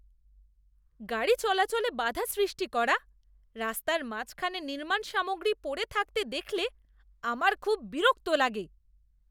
গাড়ি চলাচলে বাধা সৃষ্টি করা, রাস্তার মাঝখানে নির্মাণ সামগ্রী পড়ে থাকতে দেখলে আমার খুব বিরক্ত লাগে।